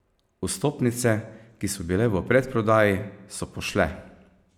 Vstopnice, ki so bile v predprodaji, so pošle.